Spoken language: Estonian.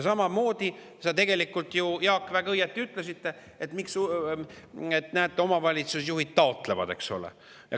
Samamoodi, Jaak, sa tegelikult ju väga õieti ütlesid, et näete, omavalitsusjuhid taotlevad, eks ole.